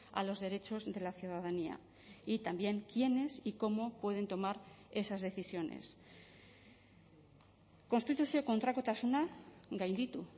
a los derechos de la ciudadanía y también quiénes y cómo pueden tomar esas decisiones konstituzio kontrakotasuna gainditu